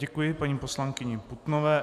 Děkuji paní poslankyni Putnové.